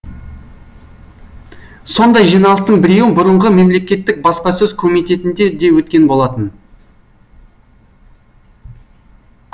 сондай жиналыстың біреуі бұрынғы мемлекеттік баспасөз комитетінде де өткен болатын